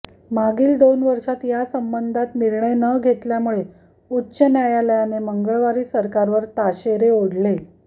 मागील दोन वर्षात यासंबंधात निर्णय न घेतल्यामुळे उच्च न्यायालयाने मंगळवारी सरकारवर ताशेरे ओढले